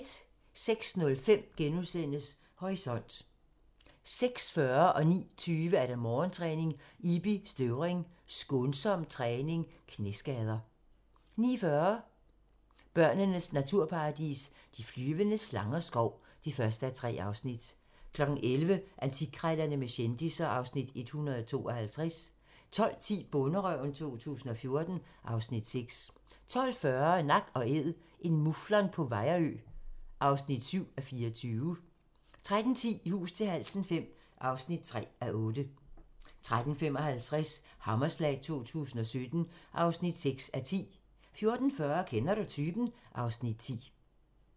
06:05: Horisont * 06:40: Morgentræning: Ibi Støvring – skånsom træning / Knæskader 09:20: Morgentræning: Ibi Støvring – skånsom træning / Knæskader 09:40: Borneos naturparadis – de flyvende slangers skov (1:3) 11:00: Antikkrejlerne med kendisser (Afs. 152) 12:10: Bonderøven 2014 (Afs. 6) 12:40: Nak & Æd – en muflon på Vejrø (7:24) 13:10: I hus til halsen V (3:8) 13:55: Hammerslag 2017 (6:10) 14:40: Kender du typen? (Afs. 10)